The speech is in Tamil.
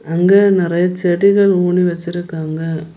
அங்க நிறைய செடிகள் ஊனி வச்சிருக்காங்க.